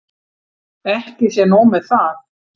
Ekki sé nóg með það.